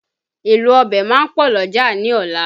Èlò ọbẹ̀ máa pọ̀ l'ọ́jà ní ọ̀la